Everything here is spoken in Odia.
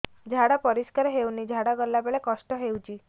ଝାଡା ପରିସ୍କାର ହେଉନି ଝାଡ଼ା ଗଲା ବେଳେ କଷ୍ଟ ହେଉଚି